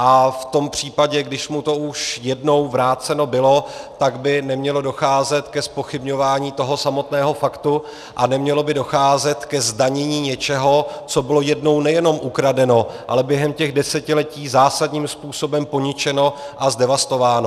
A v tom případě, když už mu to jednou vráceno bylo, tak by nemělo docházet ke zpochybňování toho samotného faktu a nemělo by docházet ke zdanění něčeho, co bylo jednou nejenom ukradeno, ale během těch desetiletí zásadním způsobem poničeno a zdevastováno.